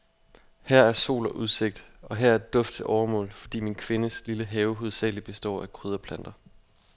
Her er sol og udsigt, og her er duft til overmål, fordi min kvindes lille have hovedsagelig består af krydderplanter.